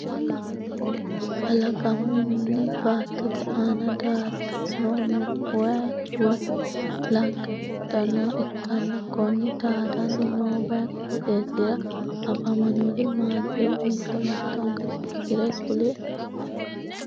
Kalaqamunni baattote aanna daadano no wayi woyi Lagga heedhanoha ikkanna konni daadanni noo wayi qooxeesira afamanori maatiro mitto mittonka titirte kuli?